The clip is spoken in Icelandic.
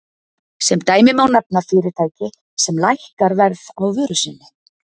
Sem dæmi má nefna fyrirtæki sem lækkar verð á vöru sinni.